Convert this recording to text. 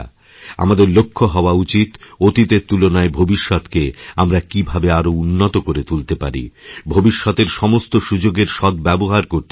আমাদের লক্ষ্য হওয়া উচিত অতীতের তুলনায় ভবিষ্যতকে আমরা কীভাবে আরও উন্নতকরে তুলতে পারি ভবিষ্যতের সমস্ত সুযোগের সদ্ব্যবহার করতে পারি